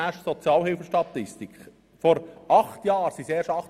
Vor sechs Jahren waren es 28 000.